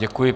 Děkuji.